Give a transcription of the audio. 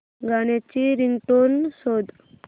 गाण्याची रिंगटोन शोध